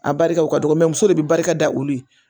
A barika ka dɔgɔ mɛ muso de bɛ barika da olu ye